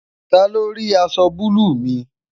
talo rí aṣọ bulu mi?